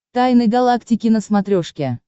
тайны галактики на смотрешке